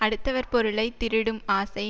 அடுத்தவர் பொருளை திருடும் ஆசை